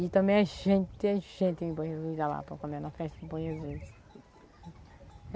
E também é gente, é gente em Bom Jesus da Lapa, como é na festa de Bom Jesus.